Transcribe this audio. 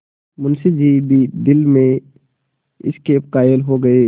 मुंशी जी भी दिल में इसके कायल हो गये